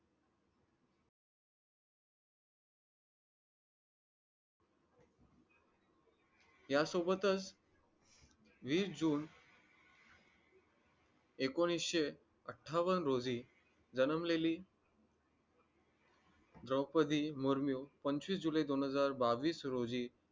यासोबतच वीस जून एकोणीशे अठ्ठावन्न रोजी जन्मलेली द्रोपदी मुर्मू पंचवीस जुलै दोन हजार बावीस रोजी